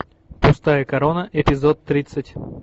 пустая корона эпизод тридцать